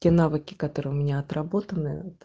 те навыки которые у меня отработаны вот